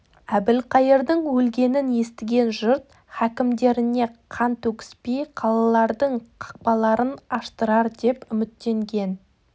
әбілқайырдың өлгенін естіген жұрт хакімдеріне қан төгіспей қалалардың қақпаларын аштыртар деп үміттенген